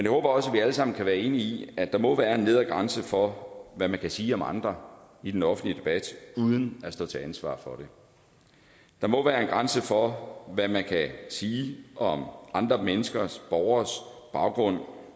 håber også at vi alle sammen kan være enige at der må være en nedre grænse for hvad man kan sige om andre i den offentlige debat uden at stå til ansvar for det der må være en grænse for hvad man kan sige om andre menneskers borgeres baggrund